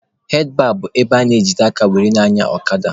Handlụbaa bụ ebe a na-ejide aka were na-anya ọkada.